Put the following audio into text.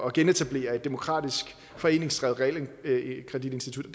at genetablere et demokratisk foreningsdrevet realkreditinstitut